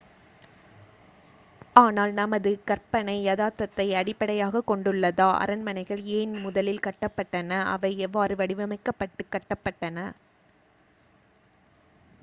ஆனால் நமது கற்பனை யதார்த்தத்தை அடிப்படையாகக் கொண்டுள்ளதா அரண்மனைகள் ஏன் முதலில் கட்டப்பட்டன அவை எவ்வாறு வடிவமைக்கப்பட்டு கட்டப்பட்டன